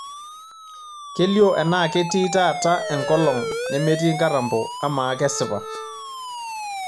kelioo enaa ketii taata engolong' nemetii nkatampo amaa kesipa